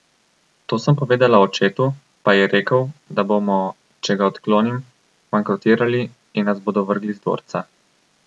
To sem povedala očetu, pa je rekel, da bomo, če ga odklonim, bankrotirali in nas bodo vrgli z dvorca.